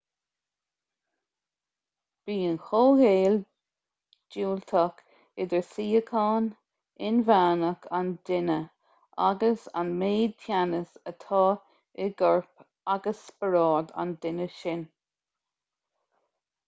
bíonn comhghaol diúltach idir síocháin inmheánach an duine agus an méid teannais atá i gcorp agus spiorad an duine sin